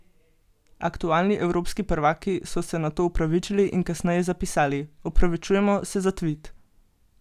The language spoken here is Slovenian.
Aktualni evropski prvaki so se nato opravičili in kasneje zapisali: 'Opravičujemo se za tvit.